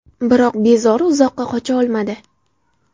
Biroq bezori uzoqqa qocha olmadi.